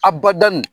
Abada nin